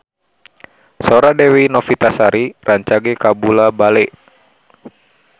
Sora Dewi Novitasari rancage kabula-bale